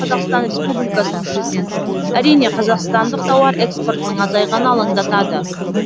қазақстан республикасының президенті әрине қазақстандық тауар экспортының азайғаны алаңдатады